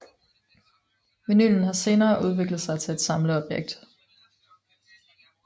Vinylen har senere udviklet sig til et samleobjekt